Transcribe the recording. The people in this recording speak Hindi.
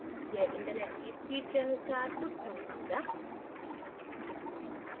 यह internet की speed के अनुसार कुछ समय लेगा